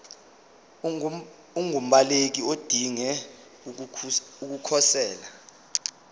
ungumbaleki odinge ukukhosela